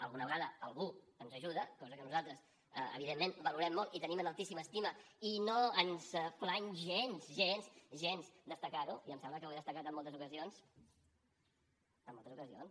alguna vegada algú ens ajuda cosa que nosaltres valorem molt i tenim en altíssima estima i no ens plany gens gens gens destacarho i em sembla que ho he destacat en moltes ocasions en moltes ocasions